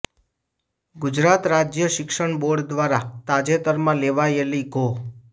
ગુજરાત રાજ્ય શિક્ષણ બોર્ડ દ્વારા તાજેતરમાં લેવાયેલી ધો